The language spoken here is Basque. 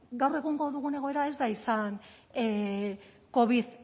gaur egun dugun egoera ez da izan covid